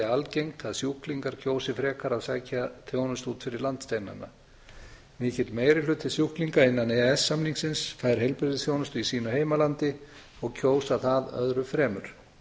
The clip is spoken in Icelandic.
algengt að sjúklingar kjósi frekar að sækja þjónustu út fyrir landsteinana mikill meiri hluti sjúklinga innan e e s samningsins fær heilbrigðisþjónustu í sínu heimalandi og kýs það öðru fremur